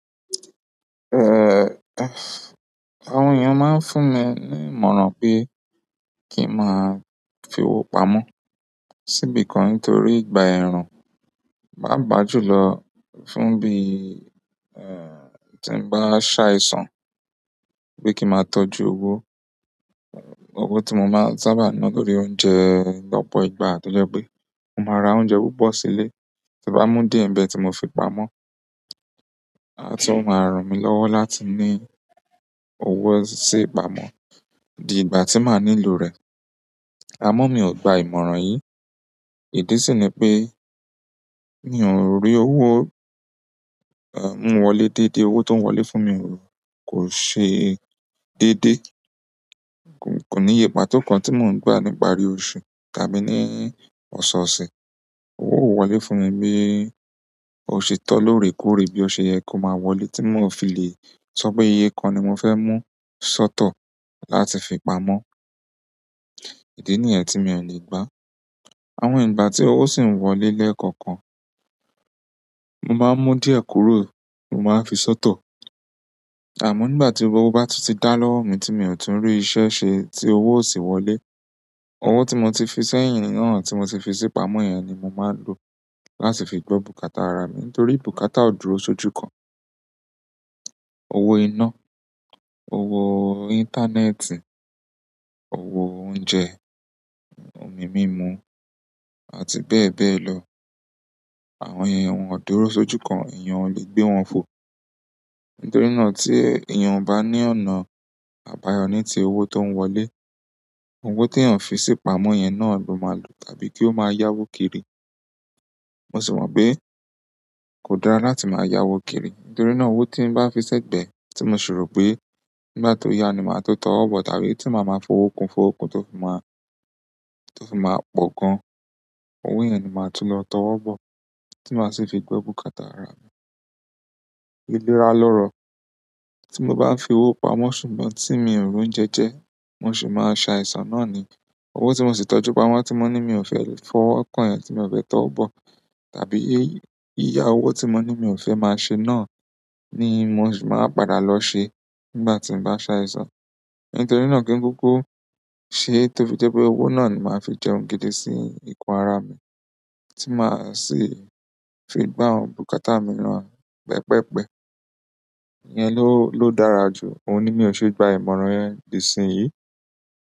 Eh, àwọn èèyàn máa ń fún mi ní ìmọ̀ràn pé kí n máa fi owó pamọ́ sí ibìkan nítorí ìgbà ẹrun paapaa júlọ fún bí, eh, tí bá ṣàìsàn pé kí máa tọ́jú owó, owó tí mo máa ń sábà ń ná torí oúnjẹ lọ́pọ̀ ìgbà tí ó jẹ́ pé mo máa ra oúnjẹ púpọ̀ sílé, tí n bá mú díẹ̀ ń bẹ tí mo fi pamọ́, à tun máa rànmí lọ́wọ́ láti ní owó sí ìpamọ́ di ìgbà tí màá nílò rẹ̀. Àmọ́ mi ò gba ìmọ̀ràn yìí, ìdí sì ni pé mi ò rí owó, eh, mú wọlé dédé, owó tó ń wọlé fún mi kò ṣe dédé. Kò, kò ní ìyè pàtó kan tí mò ń gba ní ìparí oṣù tàbí ní ọ̀sọ̀ọ̀sẹ̀. Owó ò wọlé fún mi bí ó ṣe tọ́ lóore kóòré bí ó ṣe yẹ kó máa wọlé tí mò fi lè sọ pé iye kan ni mo fẹ́ mú sọ́tọ̀ láti fi pamọ́. Ìdí nìyẹn tí mi ò lè gba á. Àwọn ìgbà tí owó sì ń wọlé lẹ́ẹ̀kọ̀kan, mo maá mú díẹ̀ kúrò mo máa n fi sọ́tọ̀. Àmọ́ nígbà tí owó bá tún ti dá lọ́wọ́ mi tí mi ò tún rí iṣẹ́ ṣe tí owó ó sì wọlé, owó tí mo ti fi sẹ́yìn náà tí mo ti fi sí pamọ́ yẹn ni mo máa ń lo láti fi gbọ́ bùkátà ara mi nítorí bùkátà ó dúró sójú kan. Owó iná, owó íńtánẹ́ẹ̀tì, owó oúnjẹ, omi mímu àti bẹ́ẹ̀ bẹ́ẹ̀ lọ. Àwọn yẹn won ò dúró sójú kan, èèyàn lè gbé wọn fo. Nítorí náà tí èèyàn o bá ní ọ̀nà àbáyọ ní ti owó tó ń wọlé, owó tí eeyan fi sí pamọ́ yẹn náà ni ó máa lò tàbí kí ó máa yáwó kiri. Mo sì mọ̀ pé kò dára láti máa yáwó kiri nítorí náà owó tí bá fi sẹ́gbẹ̀ẹ́ tí mo sì rò pé nígbà tó yá ni màá tó tọwọ́ bọ̀ tàbí tí màá máa fowó kun fowó kun tó fún máa, tó fún máa pọ̀ gan. Owó yẹn ni màá tún lọ tọwọ́ bọ̀ tí màá sì fi gbọ́ bùkátà ara mi. Iléra lọ́rọ̀, tí mo bá fi owó pamọ́ ṣùgbọ́n tí mi ò rí oúnjẹ jẹ, mo sì máa a ṣàìsàn náà ni. Owó tí mo sì tọ́jú pamọ́ tí mo ní mi ò fẹ́ fọwọ́ kàn yẹn tí mo fẹ́ tọwọ bọ̀ tàbí ìyá owó tí mo ní mi ò fẹ́ máa ṣe náà ni mo sì máa padà lọ ṣe nígbà tí bá ń ṣàìsàn. Nítorí náà kí ń kúkú ṣe tó fi jẹ́ pé owó náà ni màá fi jẹun gidi sí ikùn ara mi tí màá sì fi gbá àwọn bùkátà mìíràn pẹpẹ́pẹ. Ìyẹn ló, ló dára jù, òun ni mi ò ṣe gba ìmọ̀ràn yẹn di ìsinyìí.